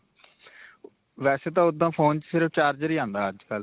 ਵੈਸੇ ਤਾਂ ਓੱਦਾਂ ਫੋਨ ਵਿੱਚ ਸਿਰਫ charger ਹੀ ਆਉਂਦਾ ਅੱਜਕਲ੍ਹ.